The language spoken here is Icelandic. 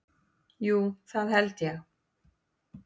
Jú, það held ég.